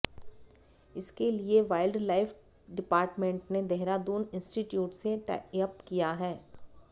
इसके लिए wild life department ने देहरादून इंस्टिट्यूट से टाइअप किया है